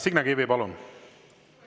Signe Kivi, palun!